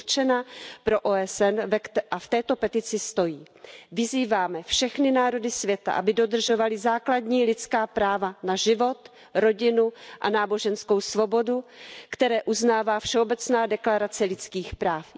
Je určena pro OSN a v této petici stojí Vyzýváme všechny národy světa, aby dodržovaly základní lidská práva na život, rodinu a náboženskou svobodu, která uznává Všeobecná deklarace lidských práv.